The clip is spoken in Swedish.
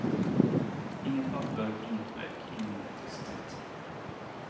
Inget papper, inget bläck, ingen elektricitet.